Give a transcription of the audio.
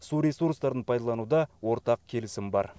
су ресурстарын пайдалануда ортақ келісім бар